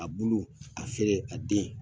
A bulu a feere a den